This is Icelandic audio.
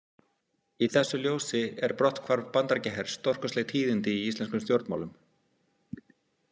Í þessu ljósi er brotthvarf Bandaríkjahers stórkostleg tíðindi í íslenskum stjórnmálum.